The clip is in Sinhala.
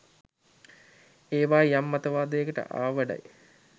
එවා යම් මතවාදයකට ආවඩයි.